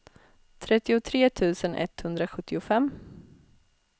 trettiotre tusen etthundrasjuttiofem